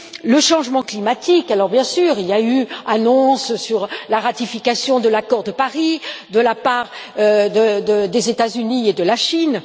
Le changement climatique bien sûr, il y a eu annonce sur la ratification de l'accord de Paris de la part des États Unis et de la Chine.